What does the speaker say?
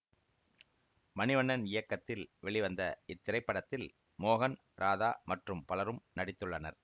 மணிவண்ணன் இயக்கத்தில் வெளிவந்த இத்திரைப்படத்தில் மோகன் ராதா மற்றும் பலரும் நடித்துள்ளனர்